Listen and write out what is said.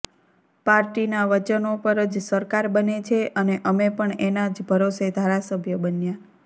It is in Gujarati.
પાર્ટીના વચનો પર જ સરકાર બને છે અને અમે પણ એના જ ભરોસે ધારાસભ્ય બન્યા